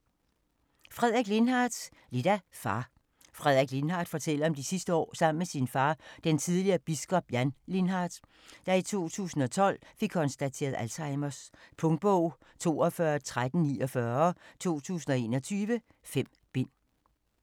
Lindhardt, Frederik: Lidt af far Frederik Lindhardt fortæller om de sidste år sammen med sin far, den tidligere biskop, Jan Lindhardt, der i 2012 fik konstateret Alzheimers. Punktbog 421349 2021. 5 bind.